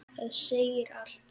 Það segir allt.